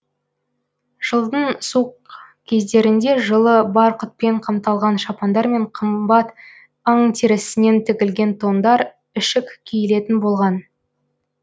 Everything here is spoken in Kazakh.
жылдың суық кездерінде жылы барқытпен қапталған шапандар мен қымбат аң терісінен тігілген тондар ішік киілетін болған